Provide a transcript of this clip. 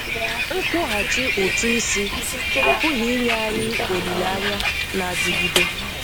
Nkwụghachi ụ̀tụ́ isi apụghị inye anyị olileanya na-adịgide.